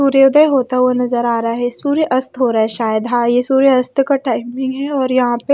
सूर्यदय होता हुआ नजर आ रहा है सूर्य अस्त हो रहा है शायद हां ये सूर्य अस्त का टाइम भी है और यहां पे--